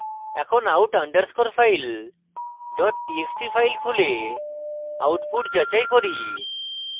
এখন out underscore file dot txt file খুলে output যাচাই করি